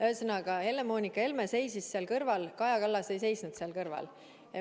Ühesõnaga, Helle-Moonika Helme seisis seal kõrval, Kaja Kallas ei seisnud seal kõrval.